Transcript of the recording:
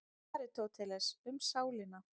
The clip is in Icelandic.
Aristóteles, Um sálina.